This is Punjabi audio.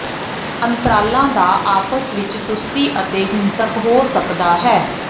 ਅੰਤਰਾਲਾਂ ਦਾ ਆਪਸ ਵਿਚ ਸੁਸਤੀ ਅਤੇ ਹਿੰਸਕ ਹੋ ਸਕਦਾ ਹੈ